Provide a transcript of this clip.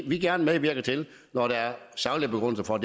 vi gerne medvirker til når der er saglige begrundelser for